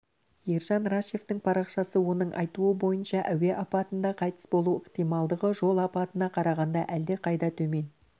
ержан рашевтің парақшасы оның айтуы бойынша әуе апатында қайтыс болу ықтималдығы жол апатына қарағанда әлдеқайда төмен